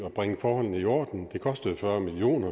at bringe forholdene i orden det kostede fyrre million